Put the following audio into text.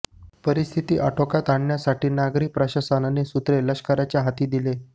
परिस्थिती आटोक्यात आणण्यासाठी नागरी प्रशासनाने सूत्रे लष्कराच्या हाती दिली